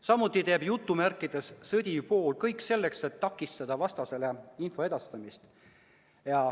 Samuti teeb "sõdiv pool" kõik selleks, et takistada vastasele info edastamist.